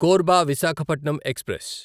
Korba Visakhapatnam express